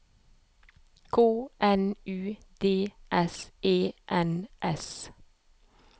K N U D S E N S